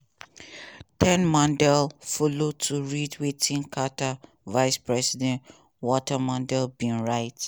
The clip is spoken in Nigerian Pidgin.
ted mondale follow to read wetin carter vice president walter mondale bin write.